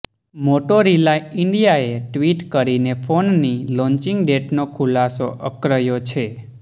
Motorola ઇન્ડિયાએ tweet કરીને ફોનની લોન્ચીંગ ડેટનો ખુલાસો અક્ર્યો છે